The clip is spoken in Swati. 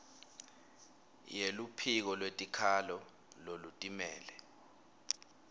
yeluphiko lwetikhalo lolutimele